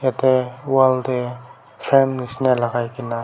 er wall tae frame nishina lakai kaena.